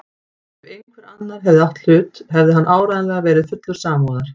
Ef einhver annar hefði átt í hlut hefði hann áreiðanlega verið fullur samúðar.